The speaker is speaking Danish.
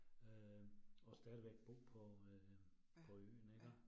Øh og stadigvæk bo på øh på øen iggå